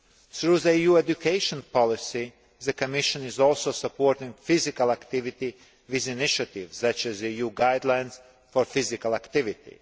Through the EU education policy, the Commission is also supporting physical activity with initiatives such as the EU guidelines for physical activity.